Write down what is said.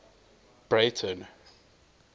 breyten